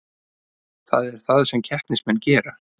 Það er það sem keppnismenn gera